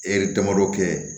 E damadɔ kɛ